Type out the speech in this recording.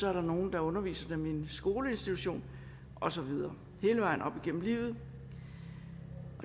er der nogle der underviser dem i en skoleinstitution og så videre hele vejen op igennem livet